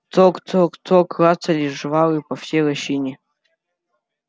цок цок цок клацали жвалы по всей лощине